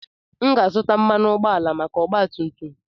M ga-azụta mmanụ ụgbọala maka ọgba tum tum.